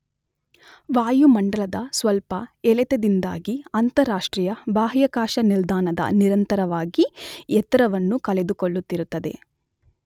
ವಾಯುಮಂಡಲದ ಸ್ವಲ್ಪ ಎಳೆತದಿಂದಾಗಿ ಅಂತರರಾಷ್ಟ್ರೀಯ ಬಾಹ್ಯಾಕಾಶ ನಿಲ್ದಾಣದ ನಿರಂತರವಾಗಿ ಎತ್ತರವನ್ನು ಕಳೆದುಕೊಳ್ಳುತ್ತಿರುತ್ತದೆ.